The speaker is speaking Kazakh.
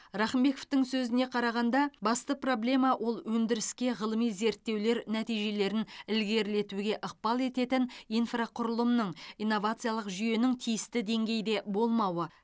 рақымбековтың сөзіне қарағанда басты проблема ол өндіріске ғылыми зерттеулер нәтижелерін ілгерілетуге ықпал ететін инфрақұрылымның инновациялық жүйенің тиісті деңгейде болмауы